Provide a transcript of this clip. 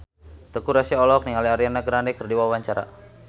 Teuku Rassya olohok ningali Ariana Grande keur diwawancara